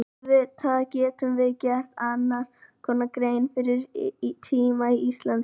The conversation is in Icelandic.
Auðvitað getum við gert annars konar grein fyrir tíma í íslensku.